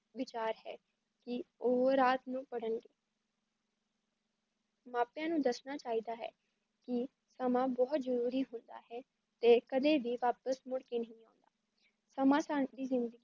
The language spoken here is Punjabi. ਵਿਚਾਰ ਹੈ ਕੀ ਓਹੋ ਰਾਤ ਨੂੰ ਪੜ੍ਹਨ ਮਾਂ ਪਿਆ ਨੂੰ ਦੱਸਣਾ ਚਾਹੀਦਾ ਹੈ ਕੀ ਸਮਾਂ ਬਹੁਤ ਜਰੂਰੀ ਹੁੰਦਾ ਹੈ ਤੇ ਏ ਕਦੇ ਵੀ ਵਾਪਸ ਮੁੜ ਕੇ ਨਹੀਂ ਆਉਂਦਾ ਹੈ ਸਮਾਂ